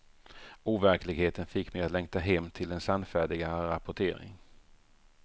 Overkligheten fick mig att längta hem till en sannfärdigare rapportering.